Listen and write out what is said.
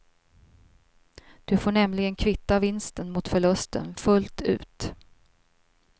Du får nämligen kvitta vinsten mot förlusten fullt ut.